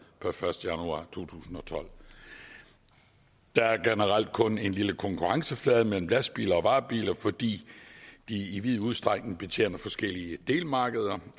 per første januar to tusind og tolv der er generelt kun en lille konkurrenceflade mellem lastbiler og varebiler fordi de i vid udstrækning betjener forskellige delmarkeder